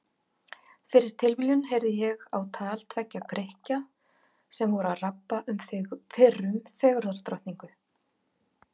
Fyrir tilviljun heyrði ég á tal tveggja Grikkja sem voru að rabba um fyrrum fegurðardrottningu.